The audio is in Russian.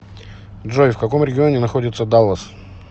джой в каком регионе находится даллас